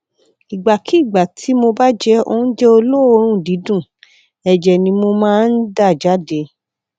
ìgbàkigbà tí mo bá jẹ oúnjẹ olóòórùn dídùn ẹjẹ ni mo máa ń dà jáde